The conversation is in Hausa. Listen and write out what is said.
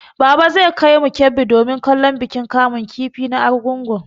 Baba zai kaimu Kebbi domin kallon bikin kamun kifi na Argungun.